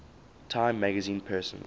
time magazine persons